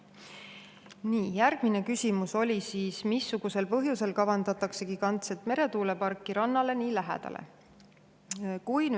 Nii, järgmine küsimus oli: "Missugusel põhjusel kavandatakse gigantset meretuuleparki rannale nii lähedale?